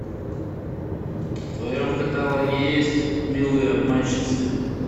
в твоем каталоге есть милые обманщицы